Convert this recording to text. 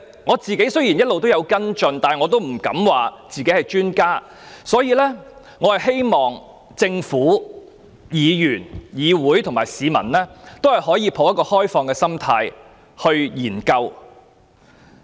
我個人雖有一直跟進，但也不敢自詡是專家，所以我希望政府、議員、議會和市民均可持開放態度進行研究。